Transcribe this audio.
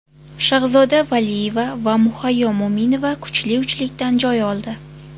Shahzoda Valiyeva va Muhayyo Mo‘minova kuchli uchlikdan joy oldi.